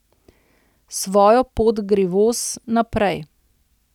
Svojo pot gre voz, naprej.